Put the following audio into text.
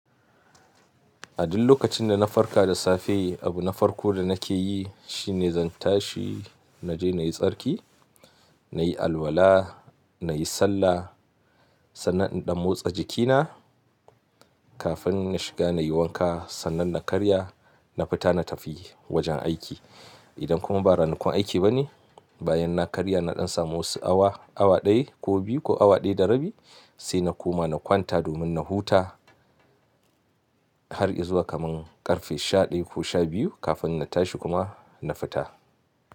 A duk lokacin da na farka da safe, abu na farko da nake yi shi ne zan tashi na je na yi tsarki, na yi alwala, na yi sallah sannan in ɗan motsa jikina kafin na shiga na yi wanka sannan na karya. Na fita na tafi wajen aiki. Idan kuma ba ranakun aiki ba ne, bayan na karya na ɗan samu wasu awa, awa ɗaya ko biyu ko awa ɗaya da rabi sai na koma na kwanta domin na huta har izuwa kaman ƙarfe shaɗaya ko sha biyu kafin na tashi kuma na fita.